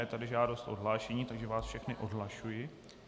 Je tady žádost o odhlášení, takže vás všechny odhlašuji.